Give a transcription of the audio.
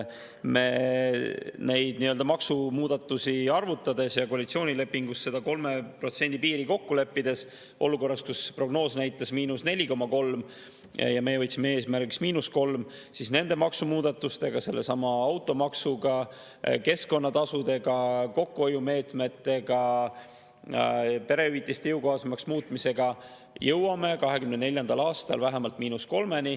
Neid maksumuudatusi arvutades ja koalitsioonilepingus seda 3% piiri kokku leppides, olukorras, kus prognoos näitas –4,3% ja me võtsime eesmärgiks –3%, me nende maksumuudatustega, sellesama automaksuga, keskkonnatasudega, kokkuhoiumeetmetega, perehüvitiste jõukohasemaks muutmisega jõuame 2024. aastal vähemalt –3%-ni.